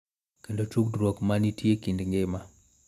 Kendo tudruok ma nitie e kind ngima.